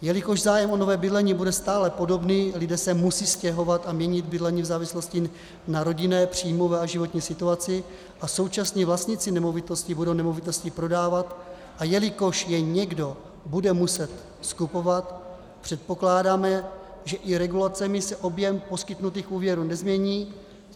Jelikož zájem o nové bydlení bude stále podobný, lidé se musí stěhovat a měnit bydlení v závislosti na rodinné, příjmové a životní situaci, a současně vlastníci nemovitostí budou nemovitosti prodávat, a jelikož je někdo bude muset skupovat, předpokládáme, že i regulacemi se objem poskytnutých úvěrů nezmění.